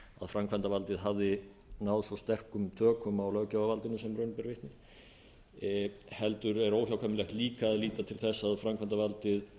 framkvæmdarvaldið hafði náð svo sterkum tökum á löggjafarvaldinu sem raun ber vitni heldur er óhjákvæmilegt líka að líta til þess að framkvæmdarvaldið